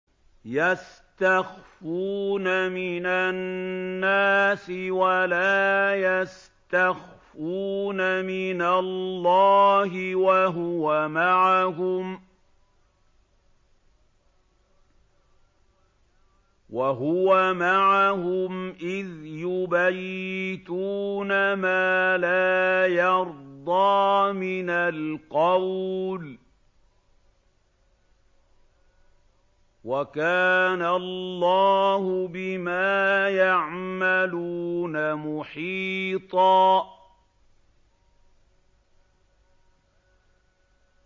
يَسْتَخْفُونَ مِنَ النَّاسِ وَلَا يَسْتَخْفُونَ مِنَ اللَّهِ وَهُوَ مَعَهُمْ إِذْ يُبَيِّتُونَ مَا لَا يَرْضَىٰ مِنَ الْقَوْلِ ۚ وَكَانَ اللَّهُ بِمَا يَعْمَلُونَ مُحِيطًا